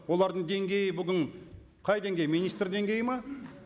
олардың деңгейі бүгін қай деңгей министр деңгейі ме